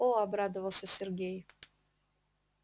о обрадовался сергей